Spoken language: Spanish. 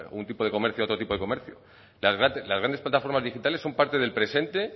un tipo de comercio a otro tipo de comercio las grandes plataformas digitales son parte del presente